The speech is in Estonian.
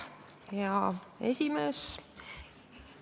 Hea esimees!